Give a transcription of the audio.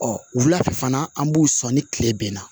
Ɔ wula fɛ fana an b'u sɔn ni tile bɛnna